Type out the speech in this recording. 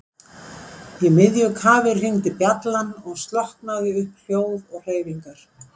Í miðju kafi hringdi bjallan og stokkaði upp hljóð og hreyfingar.